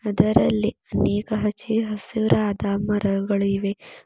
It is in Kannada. ಇದರಲ್ಲಿ ಅನೇಕ ಹಚ್ಚೆ ಹಸುರಾದ ಮರಗಳು ಇವೆ.